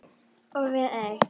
Og við eig